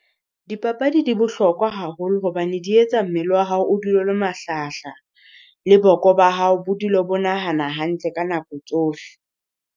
Dipapadi di bohlokwa haholo hobane di etsa mmele wa hao o dule o le mahlahahlaha, le boko ba hao bo dule bo nahana hantle ka nako tsohle.